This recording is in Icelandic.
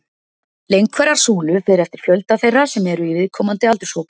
Lengd hverrar súlu fer eftir fjölda þeirra sem eru í viðkomandi aldurshópi.